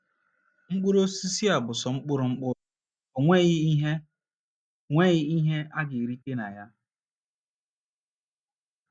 Mkpụrụ osisi a bụ sọ mkpụrụ mkpụrụ, o nweghị ihe nweghị ihe a ga - erite na ya.